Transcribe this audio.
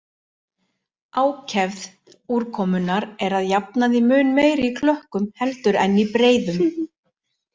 Ákefð úrkomunnar er að jafnaði mun meiri í klökkum heldur en í breiðum.